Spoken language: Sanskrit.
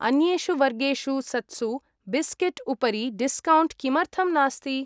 अन्येषु वर्गेषु सत्सु बिस्केट् उपरि डिस्कौण्ट् किमर्थम् नास्ति?